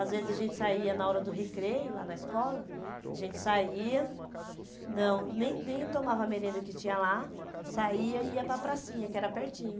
Às vezes, a gente saía na hora do recreio, lá na escola, a gente saía, não nem nem tomava a merenda que tinha lá, saía e ia para a pracinha, que era pertinho.